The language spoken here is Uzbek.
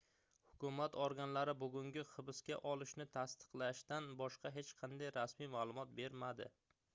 hukumat organlari bugungi hibsqa olishni tasdiqlashdan boshqa hech qanday rasmiy maʼlumot bermadi